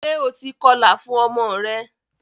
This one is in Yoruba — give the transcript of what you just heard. Ṣe o ti kọlà fún ọmọ rẹ?